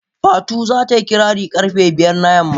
Fatu za ta yi kirari karfe biyu na yamma.